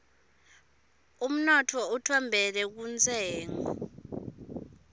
unotfo utfembele kuntshengo